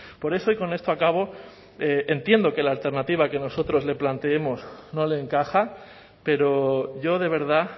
por eso y con esto acabo entiendo que la alternativa que nosotros le planteemos no le encaja pero yo de verdad